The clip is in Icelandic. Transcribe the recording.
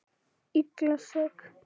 Illa sek.